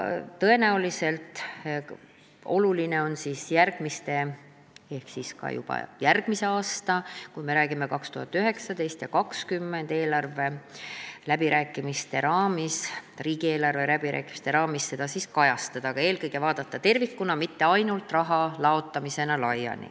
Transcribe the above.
Tõenäoliselt on oluline juba järgmise aasta riigieelarve läbirääkimiste raamis, kui me räägime 2019. ja 2020. aastast, seda kajastada, aga eelkõige tuleb seda vaadata tervikuna, mitte ainult raha laiali laotamisena.